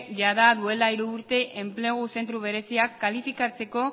jada duela hiru urte enplegu zentro bereziak kalifikatzeko